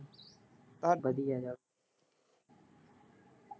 ਤਾਡੇ ਕੀ ਕਰਦੇ।